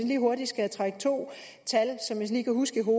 lige hurtigt to tal som jeg lige kan huske